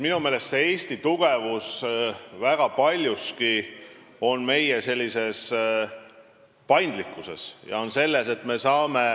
Minu meelest Eesti tugevus seisneb väga paljuski meie paindlikkuses.